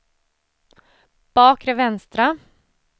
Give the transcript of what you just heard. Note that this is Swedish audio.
bakre vänstra